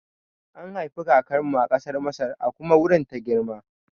An haifi kakar mu a ƙasar Masar a kuma wurin ta girma